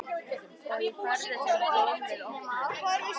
Og ég færði þeim blóm við opnunina.